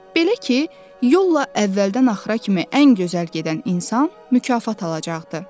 Belə ki, yolla əvvəldən axıra kimi ən gözəl gedən insan mükafat alacaqdı.